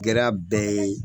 Gɛra bɛɛ ye